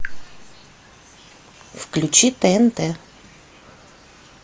включи тнт